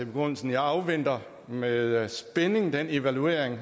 begrundelsen jeg afventer med spænding den evaluering